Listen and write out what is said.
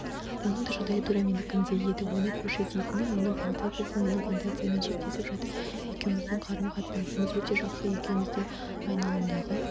оның да жағдайы тура менікіндей еді оны көрші дейтінім оның плантациясы менің плантацияммен шектесіп жатыр екеуміздің қарым-қатынасымыз өте жақсы екеуміздің айналымдағы